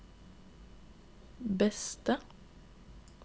beste